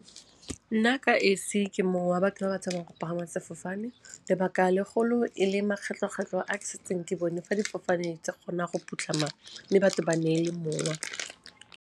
Nna ka esi, ke mong wa batho ba ba tshabang go pagama sefofane lebaka legolo e le makgetlho-kgetlho a ke setseng ke bone fa difofane tsa kgona go phutlhama mme batho ba neele mowa.